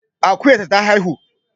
Akuyar ta ta haihu